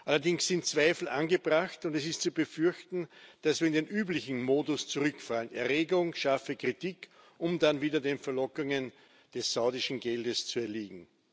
Allerdings sind Zweifel angebracht, und es ist zu befürchten, dass wir in den üblichen Modus zurückfallen Erregung, scharfe Kritik, um dann wieder den Verlockungen des saudischen Geldes zu erliegen.